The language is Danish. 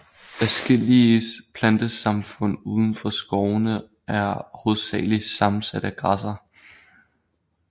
Adskillige plantesamfund uden for skovene er hovedsageligt sammensat af græsser